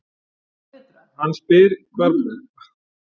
Hann spyr hvar baráttuandinn sé hjá eldri borgurum?